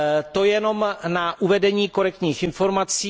To jenom na uvedení korektních informací.